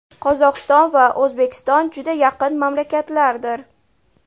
Qozog‘iston va O‘zbekiston juda yaqin mamlakatlardir.